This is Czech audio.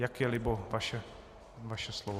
Jak je libo, vaše slovo.